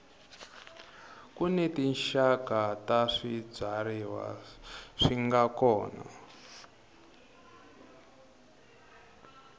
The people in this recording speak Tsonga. kuni tinxaka ta swibyariwa swinga kona